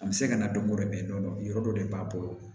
A bɛ se ka na dɔn ko dɛ yɔrɔ dɔ de b'a bolo